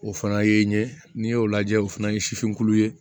O fana ye n'i y'o lajɛ o fana ye sifin ye